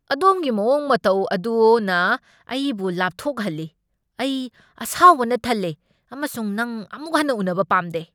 ꯑꯗꯣꯝꯒꯤ ꯃꯑꯣꯡ ꯃꯇꯧ ꯑꯗꯨꯅ ꯑꯩꯕꯨ ꯂꯥꯞꯊꯣꯛꯍꯜꯂꯤ ꯫ ꯑꯩ ꯑꯁꯥꯎꯕꯅ ꯊꯜꯂꯦ ꯑꯃꯁꯨꯡ ꯅꯪ ꯑꯃꯨꯛ ꯍꯟꯅ ꯎꯅꯕ ꯄꯥꯝꯗꯦ!